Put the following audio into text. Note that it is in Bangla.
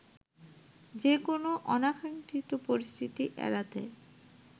যেকোনো অনাকাঙ্ক্ষিত পরিস্থিতি এড়াতে